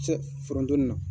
foronto ninnu.